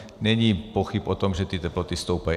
Není pochyb o tom, že ty teploty stoupají.